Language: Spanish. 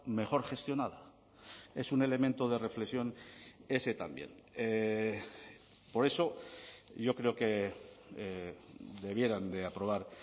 mejor gestionada es un elemento de reflexión ese también por eso yo creo que debieran de aprobar